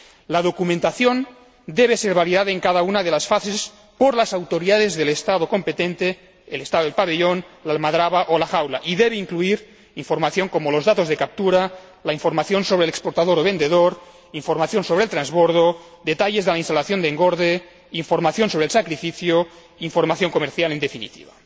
La documentación debe ser validada en cada una de las fases por las autoridades del Estado competente, el Estado del pabellón, la almadabra o la jaula, y debe incluir información como los datos de captura, información sobre el exportador o vendedor, información sobre el transbordo, detalles de la instalación de engorde, información sobre el sacrificio, información comercial en definitiva.